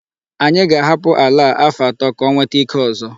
Anyị ga-ahapụ àlà a afọ atọ ka ọ nwete ike ọzọ.